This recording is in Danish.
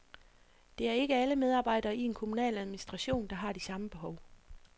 Det er ikke alle medarbejdere i en kommunal administration, der har de samme behov.